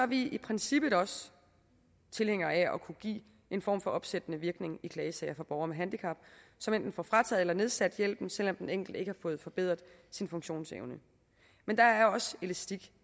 vi i princippet også tilhængere af at kunne gives en form for opsættende virkning i klagesager for borgere med handicap som enten får frataget eller nedsat hjælpen selv om den enkelte ikke fået forbedret sin funktionsevne men der er også elastik